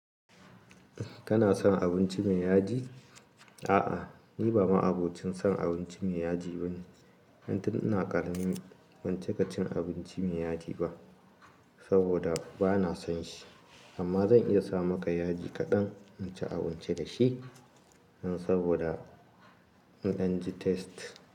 Kana son abinci mai yaji? A'a, ni ba ma'abocin son abinci mai yaji bane. Tun ina karami ban cika cin abinci mai yaji ba saboda bana son shi, amma zan iya sa maka yaji kaɗan in ci abinci da shi nan saboda in an ji taste.